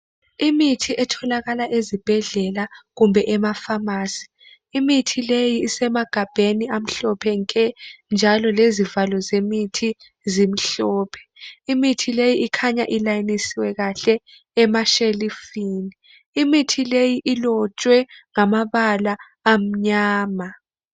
Imithi etholakala ezibhedlela kumbe emafamasi. Imithi leyi isemagabheni amhlophe nje njalo lezivalo zemithi zimhlophe. Imithi le ikhanya ilayinisiwe emashelufini. Imithi leyi ilotshwe ngamabala amnyama.